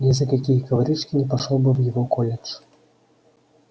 ни за какие коврижки не пошёл бы в его колледж